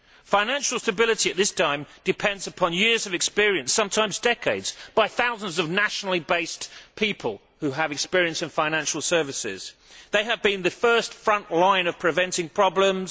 Financial stability at this time depends upon the years and sometimes decades of experience of thousands of nationally based people who have experience of financial services. They have been the first front line in preventing problems.